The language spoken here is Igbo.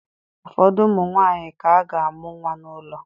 Ụfọdụ ụmụ nwanyị ka ga-amụ nwa n'ụlọ